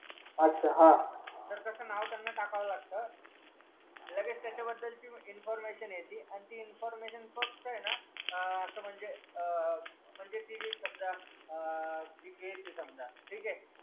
अच्छा हा तेर त्यांचा नाव त्यांना टाकावं लागत लगेच त्याचा बदल ची इन्फॉर्मशन येति ती इन्फॉर्मशन फक्त ना आ असं म्हणजे आ म्हणजे ती घेईल समजा आ